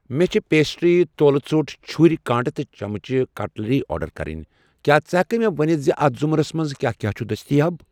مےٚ چھ پیسٹِرٛیہٕ، تولہٕ ژوٚٹ، چُھر، کانٛٹہٕ تہٕ چمچہٕ، کٹلٔری آرڈر کرٕنۍ، کیٛاہ ژٕ ہٮ۪ککھٕ مےٚ ؤنِتھ اَتھ رمزس منٛز کیٛاہ کیٛاہ چھ دٔستیاب۔